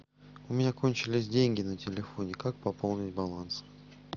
у меня кончились деньги на телефоне как пополнить баланс